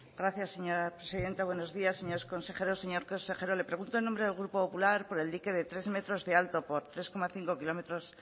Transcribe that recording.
gracias señora presidenta buenos días señores consejeros señor consejero le pregunto en nombre del grupo popular por el dique de tres metros de alto por tres coma cinco kilómetros